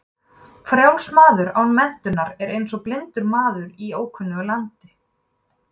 Frjáls maður án menntunar er eins og blindur maður í ókunnu landi.